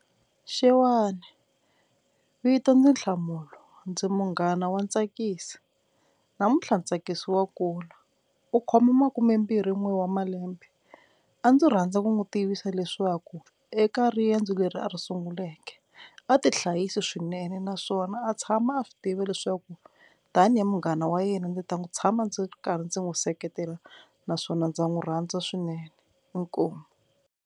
Xewani vito ndzi Nhlamulo ndzi munghana wa Ntsakiso, namuntlha Ntsakisi wa kula u khoma makume mbirhi n'we wa malembe a ndzi rhandza ku n'wi tivisa leswaku eka riendzo leri a ri sunguleke a tihlayisi swinene naswona a tshama a swi tiva leswaku tanihi munghana wa yena ndzi ta n'wi tshama ndzi karhi ndzi n'wi seketela naswona ndza n'wi rhandza swinene inkomu.